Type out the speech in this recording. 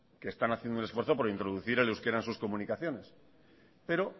que están haciendo el esfuerzo por introducir en euskera en sus comunicaciones pero